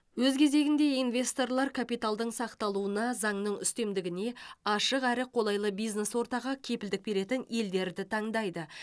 өз кезегінде инвесторлар капиталдардың сақталуына заңның үстемдігіне ашық әрі қолайлы бизнес ортаға кепілдік беретін елдерді таңдайды